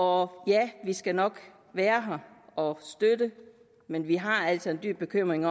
og ja vi skal nok være her og støtte men vi har altså en dyb bekymring